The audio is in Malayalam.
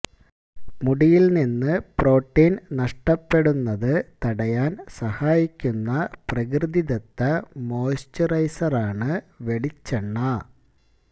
മുടിയില് നിന്ന് പ്രോട്ടീന് നഷ്ടപ്പെടുന്നത് തടയാന് സഹായിക്കുന്ന പ്രകൃതിദത്ത മോയ്സ്ചുറൈസറാണ് വെളിച്ചെണ്ണ